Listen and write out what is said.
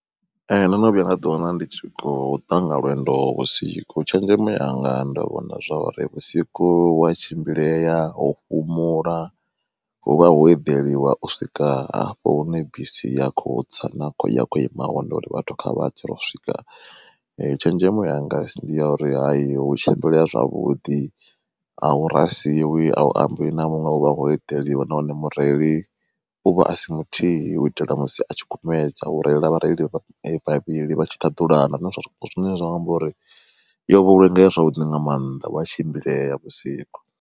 Ee ndo no vhuya nda ḓi wana ndi kho ṱanga lwendo vhusiku tshenzhemo yanga ndo vhona zwori vhusiku wa tshimbileya ho fhumula, hu vha ho eḓeliwa u swika hafho hune bisi ya kho tsa ya khou ima hone uri vhathu kha vha tse ro swika tshenzhemo yanga ndi ya uri hua tshimbileya zwavhuḓi ahuna a u ambi na muṅwe huvha ho eḓeliwa nahone mureili uvha a si muthihi uitela musi a tshikumedza hu reila vhareili vha vhavhili vha tshi ṱhaḓulana zwine zwa amba uri yo vhulunge ya zwavhuḓi nga maanḓa huya tshimbilea vhusiku.